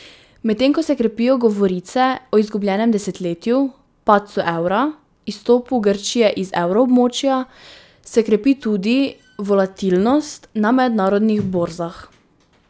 Medtem ko se krepijo govorice o izgubljenem desetletju, padcu evra, izstopu Grčije iz evroobmočja, se krepi tudi volatilnost na mednarodnih borzah.